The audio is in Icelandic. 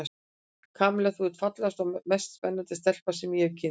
Kamilla, þú ert fallegasta og mest spennandi stelpa sem ég hef kynnst.